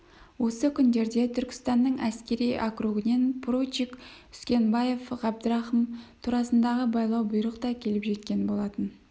осы күндерде түркістанның әскери округінен поручик үскенбаев ғабдрахым турасындағы байлау бұйрық та келіп жеткен болатын